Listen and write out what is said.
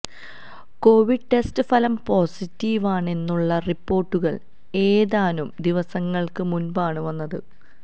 Covid test ഫലം പോസിറ്റീവാണെന്നുള്ള റിപ്പോർട്ടുകൾ ഏതാനും ദിവസങ്ങൾക്ക് മുൻപാണ് വന്നത്